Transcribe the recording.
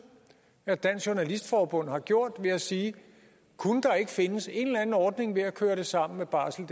at dansk journalistforbund har gjort ved at sige kunne der ikke findes en eller anden ordning ved at køre det sammen med barseldk